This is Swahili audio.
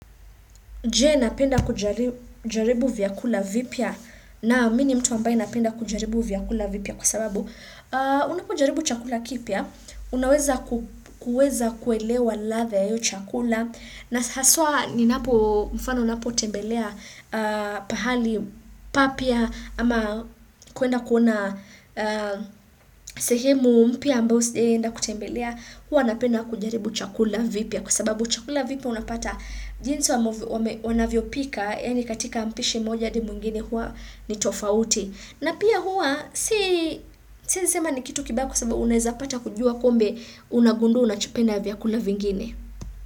Je napenda kuja kujaribu vyakula vipya? Naam mi ni mtu ambaye napenda kujaribu vyakula vipya kwa sababu unapo kujaribu chakula kipya unaweza ku kuweza kuelewa ladha ya hiyo chakula na haswa ninapo mfano napo tembelea pahali papya ama kuenda kuona sehemu mpya ambao sijai enda kutembelea hua napenda kujaribu chakula vipya kwa sababu chakula vipya unapata jinsi wame wanavyo pika, yani katika mpishi moja hadi mwingine huwa ni tofauti. Na pia huwa, si siezi sema ni kitu kibaya kwa sababu unaeza pata kujua kumbe, unagundua unachopenda vyakula vingine.